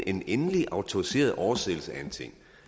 en endelig autoriseret oversættelse af en ting